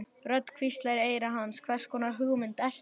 Rödd hvíslar í eyra hans: Hvers konar hugmynd ertu?